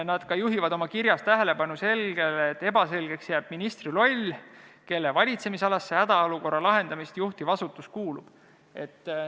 Nad juhivad oma kirjas ka tähelepanu, et ebaselgeks jääb ministri roll, kelle valitsemisalasse see hädaolukorra lahendamist juhtiv asutus kuulub.